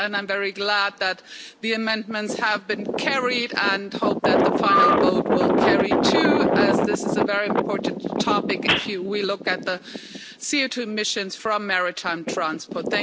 I'm very glad that the amendments have been carried. I hope that the final vote will carry too, as this is a very important topic if we look at the CO2 emissions from maritime transport.